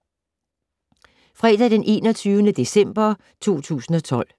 Fredag d. 21. december 2012